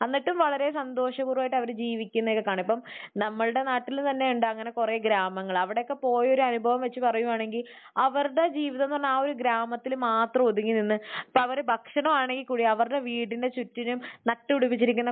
എന്നിട്ടും വളരെ സന്തോഷപൂർവ്വമായിട്ട് അവർ ജീവിക്കുന്നതൊക്കെ കാണാം. ഇപ്പോൾ നമ്മളുടെ നാട്ടിൽ തന്നെയുണ്ട് അങ്ങനെ കുറെ ഗ്രാമങ്ങൾ. അവിടെയൊക്കെ പോയ ഒരു അനുഭവം വെച്ച് പറയുകയാണെങ്കിൽ അവരുടെ ജീവിതം എന്ന് പറഞ്ഞാൽ ആ ഒരു ഗ്രാമത്തിൽ മാത്രം ഒതുങ്ങി നിന്ന്. ഇപ്പോൾ അവർ ഭക്ഷണം ആണെങ്കിൽ കൂടെ അവരുടെ വീടിന്റെ ചുറ്റിനും നട്ട് പിടിപ്പിച്ചിരിക്കുന്ന